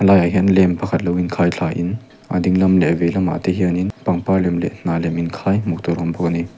a laiah hian lamp pakhat lo in khai thla in a dinglam leh veilamah te hian in pangpar lem leh hnah lem in khai hmuh tur a awm bawk a ni.